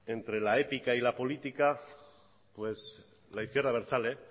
entre la épica y la política pues la izquierda abertzale